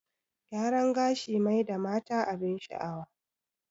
Gyaran gashi mai da mata abin sha'awa